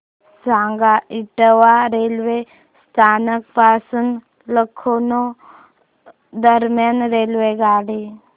सांगा इटावा रेल्वे स्थानक पासून लखनौ दरम्यान रेल्वेगाडी